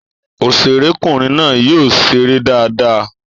Òṣèré kùnrin náà yóò ṣeré dáadáa.